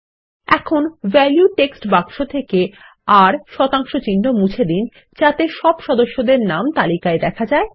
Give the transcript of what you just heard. এখন value text বাক্স থেকে আর160 মুছে দিন যাতে সব সদস্যদের নাম তালিকায় দেখা যায়